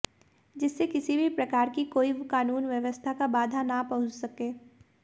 जिससे किसी भी प्रकार की कोई कानून व्यवस्था का बाधा न पहुंच सके